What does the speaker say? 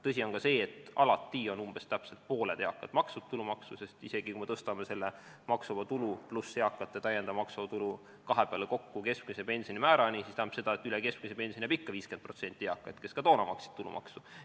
Tõsi on ka see, et alati on umbes pooled eakad maksnud tulumaksu, sest isegi kui me tõstame selle maksuvaba tulu pluss eakate täiendava maksuvaba tulu kahe peale kokku keskmise pensioni määrani, siis see tähendab, et üle keskmise pensioni saab ikka 50% eakaid, kes ka toona maksid tulumaksu.